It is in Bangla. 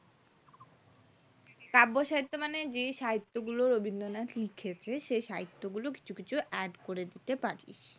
কাব্যসাহিত্যে মানে যে সাহিত্য গুলো রবীন্দ্রনাথ লিখেছে সেই সাহিত্য গুলো কিছু কিছু add করতে পারিস